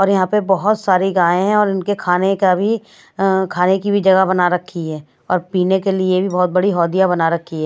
और यहां पर बहुत सारी गाय हैं और इनके खाने का भी खाने की भी जगह बना रखी है और पीने के लिए भी बहुत बड़ी हौदियां बना रखी है।